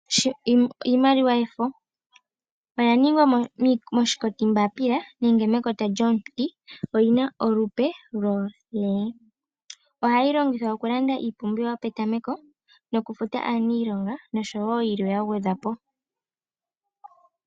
Iimaliwa yefo, oya ningwa moshinkoti mbaapila nenge mekota lyomuti. Oyina olupe lwo L. Ohayi longithwa oku landa iipumbiwa yopetameko noku futa aaniilonga noshowo yilwe ya gwedhwa po.